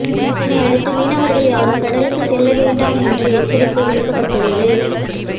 இதனையடுத்து மீனவர்கள் யாரும் கடலுக்குச் செல்லக் வேண்டாம் என்று எச்சரிக்கை விடுக்கப்பட்டுள்ளது